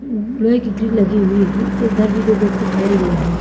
लोहे की ग्रिल लगी हुई है इधर भी दो व्यक्ति खड़े हुए हैं।